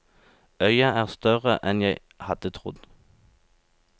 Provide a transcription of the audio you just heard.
Øya er større enn jeg hadde trodd.